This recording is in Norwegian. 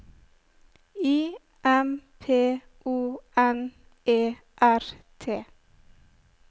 I M P O N E R T